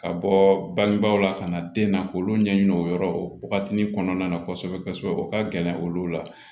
Ka bɔ bangebaaw la ka na den na k'olu ɲɛɲini o yɔrɔ o wagati kɔnɔna na kosɛbɛ kosɛbɛ o ka gɛlɛ olu la